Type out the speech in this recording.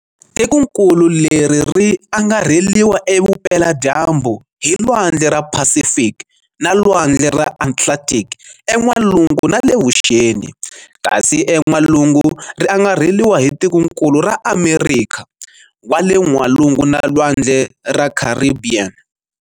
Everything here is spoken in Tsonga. Tikonkulu leri ri angarheliwa evupela dyambu hi lwandle ra Phasifiki na lwandle ra Atlanthiki e n'walungu nale vuxeni, kasi en'walungu ri angarheliwa hi tikonkulu ra Amerikha wa le N'walungu na Lwandle ra Kharibhiyeni.